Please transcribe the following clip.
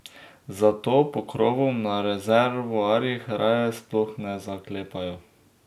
Zato pokrovov na rezervoarjih raje sploh ne zaklepajo.